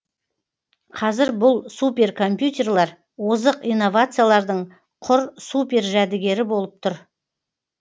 қазір бұл суперкомпьютерлар озық инновациялардың құр супер жәдігері болып тұр